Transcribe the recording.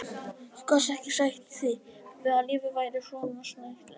Þú gast ekki sætt þig við að lífið væri svo snautlegt.